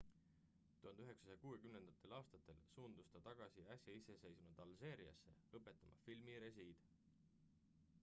1960 aastatel suundus ta tagasi äsja iseseisvunud alžeeriasse õpetama filmirežiid